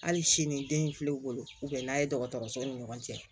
Hali sini den in filɛ u wolo u bɛ n'a ye dɔgɔtɔrɔsow ni ɲɔgɔn cɛ